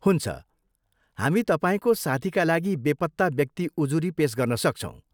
हुन्छ, हामी तपाईँको साथीका लागि बेपत्ता व्यक्ति उजुरी पेस गर्न सक्छौँ।